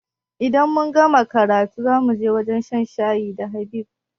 Idan mun gama karatu zamuje wajan shan shayi da Habib